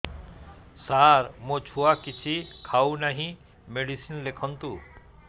ସାର ମୋ ଛୁଆ କିଛି ଖାଉ ନାହିଁ ମେଡିସିନ ଲେଖନ୍ତୁ